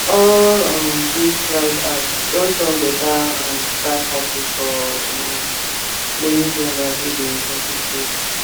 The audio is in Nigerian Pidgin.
all um these rideapps don turn better um side hustle for um many drivers wey dey hustle solo